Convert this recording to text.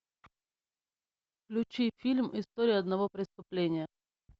включи фильм история одного преступления